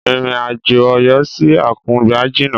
Ìrìn àjò Ọ̀yọ́ sí Àkùngbá jìna.